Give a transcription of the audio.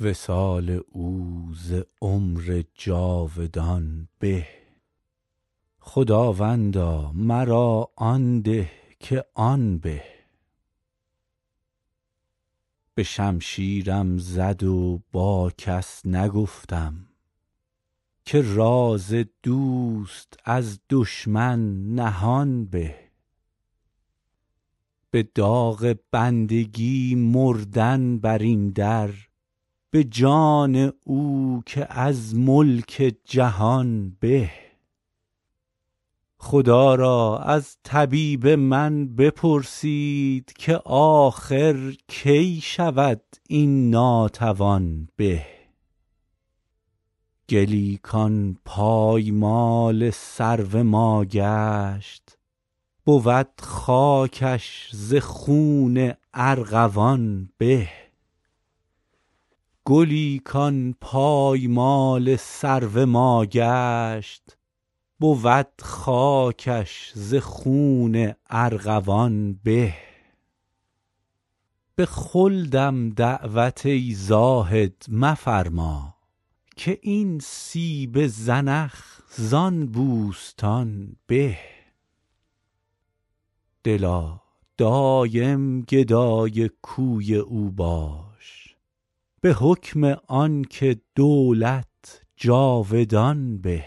وصال او ز عمر جاودان به خداوندا مرا آن ده که آن به به شمشیرم زد و با کس نگفتم که راز دوست از دشمن نهان به به داغ بندگی مردن بر این در به جان او که از ملک جهان به خدا را از طبیب من بپرسید که آخر کی شود این ناتوان به گلی کان پایمال سرو ما گشت بود خاکش ز خون ارغوان به به خلدم دعوت ای زاهد مفرما که این سیب زنخ زان بوستان به دلا دایم گدای کوی او باش به حکم آن که دولت جاودان به